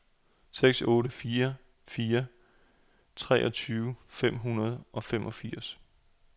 seks otte fire fire treogtyve fem hundrede og femogfirs